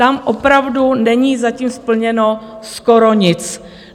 Tam opravdu není zatím splněno skoro nic.